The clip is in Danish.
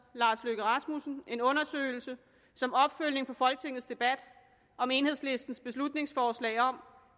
lars løkke rasmussen en undersøgelse som opfølgning på folketingets debat om enhedslistens beslutningsforslag om